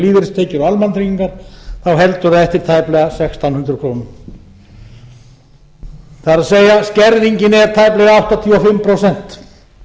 lífeyristekjur og almannatryggingar heldur það eftir tæplega sextán hundruð krónur það er skerðingin er tæplega áttatíu og fimm prósent